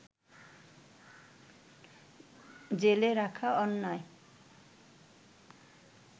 জেলে রাখা অন্যায়